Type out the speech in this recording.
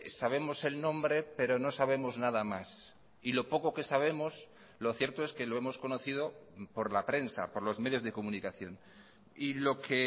sabemos el nombre pero no sabemos nada más y lo poco que sabemos lo cierto es que lo hemos conocido por la prensa por los medios de comunicación y lo que